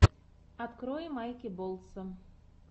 открой майки болтса